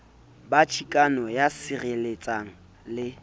ba chikano ya sireletsang le